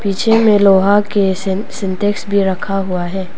पीछे में लोहा के सिन सिंटेक्स भी रखा हुआ है।